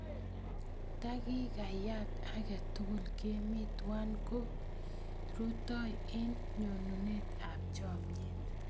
Takikayat ake tukul kemi twai koi rutoi eng' ng'onyut ap chomyet.